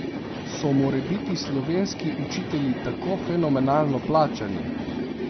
So morebiti slovenski učitelji tako fenomenalno plačani?